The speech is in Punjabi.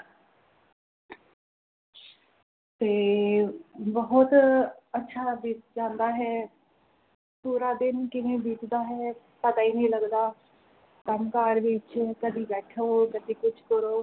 ਤੇ ਬੋਹੋਤ ਅੱਛਾ ਬੀਤ ਜਾਂਦਾ ਹੈ ਪੂਰਾ ਦਿਨ ਕਿਵੇਂ ਬੀਤਦਾ ਹੈ ਪਤਾ ਹੀ ਨਹੀਂ ਲੱਗਦਾ ਕੰਮ ਕਾਰ ਵਿਚ ਕਦੀ ਬੈਠੋ ਕਦੇ ਕੁਝ ਕਰੋ